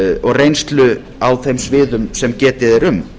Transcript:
og reynslu á þeim sviðum sem getið er um